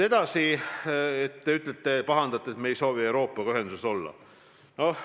Edasi, te pahandate, et me ei soovi Euroopaga ühenduses olla.